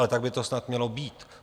Ale tak by to snad mělo být.